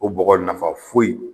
O bɔgɔ nafa foyi